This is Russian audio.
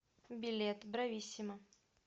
билет брависсимо